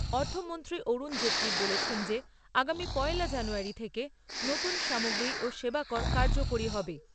অর্থমন্ত্রী অরুণ জেটলি বলেছেন যে আগামী পয়লা জানুয়ারী থেকে নতুন সামগ্রী ও সেবা কর কার্যকরী হবে।